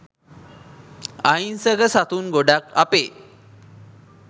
අහිංසක සතුන් ගොඩාක් අපේ